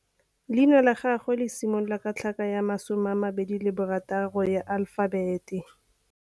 Leina la gagwe le similola ka tlhaka ya bo 26, ya alefabete.